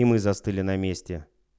и мы застыли на месте